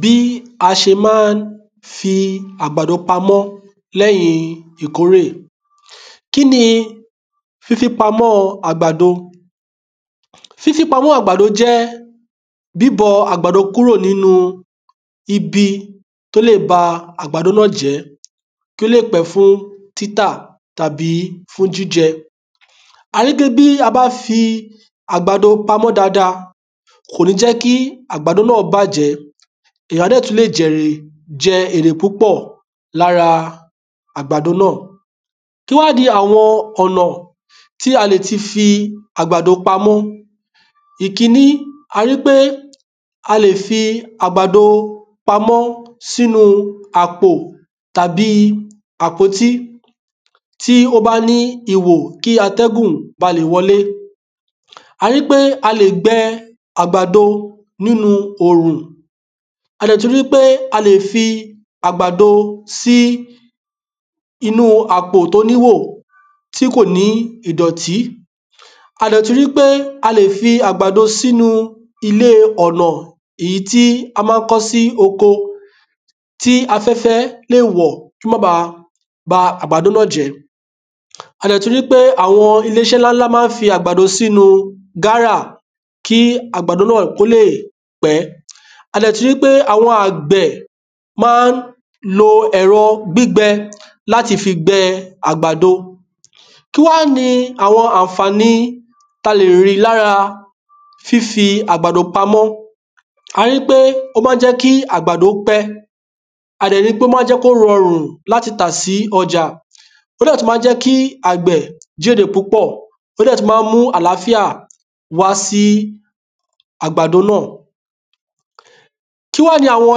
Bí a ṣe ma ń fi àgbàdo pamọ́ lẹ́yìn ìkórè. kíni fifi pamọ́ àgbàdo fifi pamọ́ àgbàdo jẹ́ bíbó àgbàdo kúrò ninú ibi tó lè bá àgbàdo náà jẹ́ kó lè pẹ́ fún títà tàbí jíjẹ àti pé bí a bá fi àgbàdo pamọ́ dáadáa, kò ní jẹ́ kí àgbàdo náà bàjẹ́, èyàn dẹ̀ máa lè jẹ èrè púpọ̀ lára àgbàdo náà Kíwá ni àwọn ọ̀nà tí a lè fi fi àgbàdo pamọ́ a ríi pé a lè fi àgbàdo pamọ́ sínu àpò tàbí àpótí tí ó bá ní ihò kí atẹ́gùn ba lè wọlé, a ríi pé a lè gbẹ àgbàdo nínu òrùn, a dẹ tu ri pe a le fi àgbàdo sì inù apo to níhò tí kò ní ìdọ́tì à dẹ̀ tún ríi pé a lè fi àgbàdo sì ilé ọ̀nà èyí tí a ma ń kọ́ sí oko tí afẹ́fẹ́ lè wọ̀ kó má bà bá àgbàdo náà jẹ́ a dẹ̀ tún ríi pé àwọn iléeṣé ńlá ma ń fi àgbàdo sínu gáárà kí àgbàdo náà kó lè pẹ́ a dẹ̀ tún ríi pé àwọn àgbẹ̀ ma ń lo ẹ̀rọ gbígbẹ láti fi gbẹ àgbàdo kí wá ni àwọn àǹfàní tí a lè rí lára fífi àgbàdo pamọ́, a ríi wípé ó máa jẹ́ kí àgbàdo pẹ́ a dẹ̀ ríi pé ó ma ń jẹ́ kí ó rọrùn láti tà sí ọjà, ó dẹ̀ tún ma ń jẹ́ kí àgbẹ̀ kérè púpọ̀, ó dẹ̀ tún ma ń mu àlááfíà wá sì àgbàdo náà Kí wá ni àwọn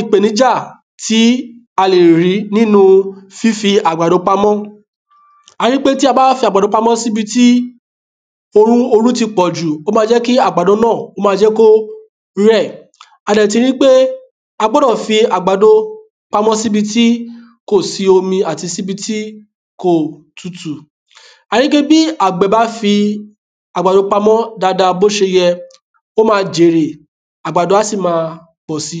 ìpèníjà tí a lè rí nínu fífí àgbàdo pamọ́ a ríi pé tí á bá fi àgbàdo pamọ́ síbi tí oru ti pọ̀jù ó ma ń jẹ́ kí àgbàdo náà rẹ̀ a dẹ̀ tún ríi pé a gbọ́dọ̀ fi àgbado pamọ́ síbi tí kò sí omi tàbí tí kò tutu a ríi wípé bí àgbẹ̀ bá fi àgbàdo pamọ́ dáadáa bó ṣe yẹ ó máa jèèrè àgbàdo a sì máa pọ̀ si